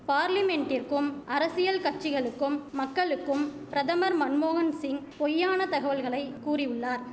பார்லிமென்ட்டிற்கும் அரசியல் கட்சிகளுக்கும் மக்களுக்கும் பிரதமர் மன்மோகன்சிங் பொய்யான தகவல்களை கூறியுள்ளார்